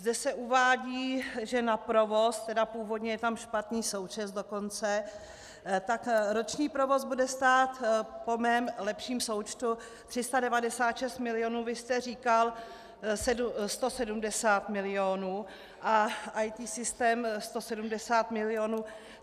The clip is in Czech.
Zde se uvádí, že na provoz, tedy původně je tam špatný součet dokonce, tak roční provoz bude stát po mém lepším součtu 396 milionů, vy jste říkal 170 milionů, a EET systém 170 milionů.